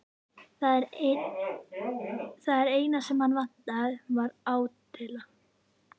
Það eina sem hann vantaði var átylla.